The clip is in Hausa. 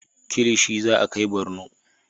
Kilishi za a kai Barno